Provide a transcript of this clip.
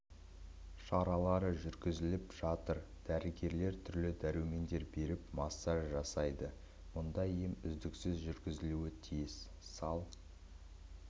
шаралары жүргізіліп жатыр дәрігерлер түрлі дәрумендер беріп массаж жасайды мұндай ем үздіксіз жүргізілуі тиіс сал